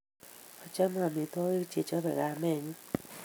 achame amitwogik che chapei kamenyu